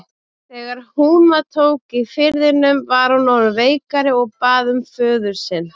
Þegar húma tók í firðinum var hún orðin veikari og bað um föður sinn.